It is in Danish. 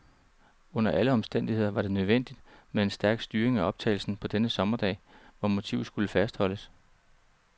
Under alle omstændigheder var det nødvendigt med en stærk styring af optagelsen på denne sommerdag, hvor motivet skulle fastholdes.